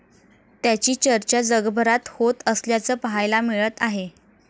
त्याची चर्चा जगभरात होत असल्याचं पाहायला मिळत आहे.